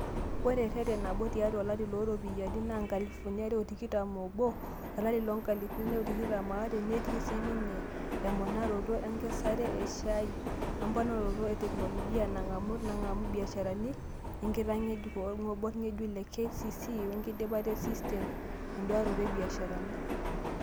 Ore ereten nabo tiatu olari looropiyiani loo nkalifuni are o tikitam obo olari loonkalifuni are o tikitam aare netii sininye emonaroto enkesare e shaai, emponarot e teknoloji naangamu naangamu ibiasharani, enkitangejuk olgob ngejuk le KCC wenkidipa e sistem eduaaroto o biasharani.